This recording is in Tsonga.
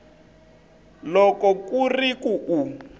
loko ku ri ku u